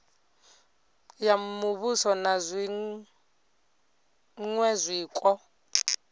ya muvhuso na zwiṅwe zwiko